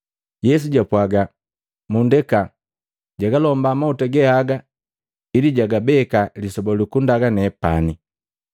Yesu jwapwaga, “Mundeka, jagalomba mahuta ge haga ili jagabeka lisoba luku ndaga nepani.